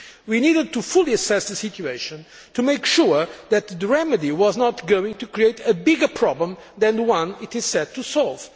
We needed to fully assess the situation to make sure that the remedy was not going to create a bigger problem than the one it set out to solve.